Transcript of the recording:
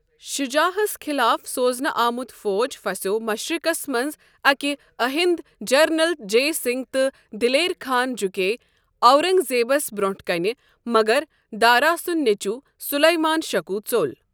شُجاع ہس خٕلاف سوزنہٕ آمت فوج پھسٮ۪و مشرقس منٛز اکہ أۂنٛدۍ جرنیل جئے سنگھ تہٕ دلیر خان جكییہِ اورنگ زیبس بروونٛٹھ کٔنہِ مگر دارا سنٛد نیچو سلیمان شکوہ ژوٚل۔